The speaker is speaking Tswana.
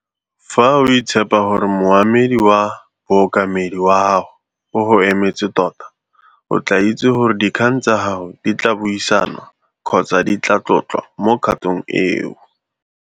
Fa o ITSHEPHA gore Moemedi wa Bookamedi wa gago o go emetse tota, o tlaa itse gore dikgang tsa gago di tlaa buisanwa kgotsa di tlaa tlotlwa mo kgatong eo.